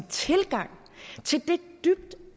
tilgang til det dybt